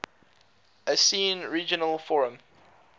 asean regional forum